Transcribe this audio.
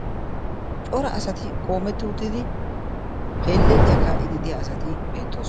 cora asati qoometti uttidi heeleliyaa kaa77ididiya asati beettoos